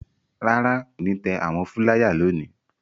Rárá, kò ní tẹ àwọn fúláyà lónìí.